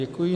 Děkuji.